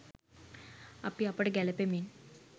අපි අපට ගැළපෙමින්